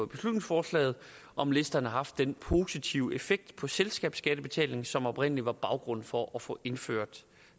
beslutningsforslaget om listerne har haft den positive effekt på selskabsskattebetalingen som oprindelig var baggrunden for at få indført